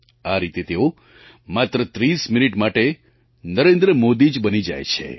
આ રીતે તેઓ માત્ર 30 મિનિટ માટે નરેન્દ્ર મોદી જ બની જાય છે